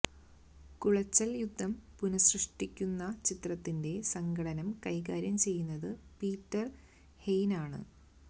കുളച്ചല് യുദ്ധം പുനഃസൃഷ്ടിക്കുന്ന ചിത്രത്തിന്റെ സംഘട്ടനം കൈകാര്യം ചെയ്യുന്നത് പീറ്റര് ഹെയ്നാണ്